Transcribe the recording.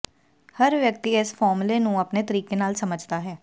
ਹਰ ਵਿਅਕਤੀ ਇਸ ਫਾਰਮੂਲੇ ਨੂੰ ਆਪਣੇ ਤਰੀਕੇ ਨਾਲ ਸਮਝਦਾ ਹੈ